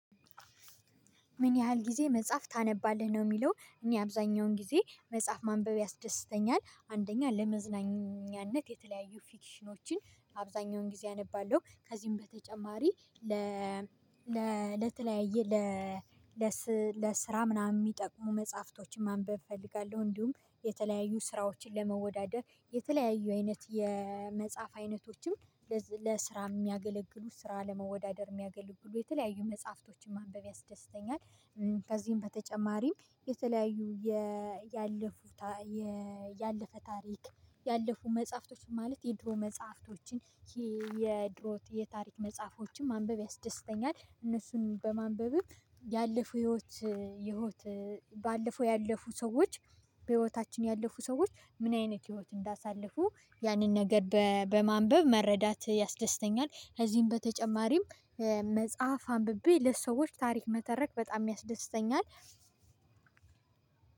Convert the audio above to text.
ምን ያህል ጊዜ መጽሐፍ ታነባለህ ነው የሚለው? እኔ አብዛኛውን ጊዜ መጽሐፍ ማንበብ ያስደስተኛል አንደኛ ለመዝናኛነት የተለያዩ ፊክሽኖችን አብዛኛውን ጊዜ አነባለሁ ከዚህም በተጨማሪ ለተለያየ ለስራ ምናምን የሚጠቅሙ መጽሐፍቶችን ማንበብ እፈልጋለሁ እንዲሁም የተለያዩ ስራዎችን ለመወዳደር የተለያዩ አይነት የመጽሐፍ አይነቶችም ለስራ የሚያገለግሉ ስራ ለመወዳደር የሚያገልግ ብሎ የተለያዩ መጽሐፍቶችን ማንበብ ያስደስተኛል። ከዚህም በተጨማሪም የተለያዩ ያለፉት ያለፈ ታሪክ ያለፉ መጽሐፍቶችን ማለት የድሮ መጽሐፍቶችን የድሮ የታሪክ መጽሐፎችን ማንበብ ያስደስተኛል። እነሱን በማንበብም ያለፉ ህይወት የህይወት ባለፈው ያለፉ ሰዎች በህይወታችን ያለፉ ሰዎች ምን አይነት ህይወት እንዳሳለፉ ያንን ነገር በማንበብ መረዳት ያስደስተኛል። ከዚህም በተጨማሪም መጽሐፍ አንብቤ ለሰዎች ታሪክ መተረክ በጣም ያስደስተኛል።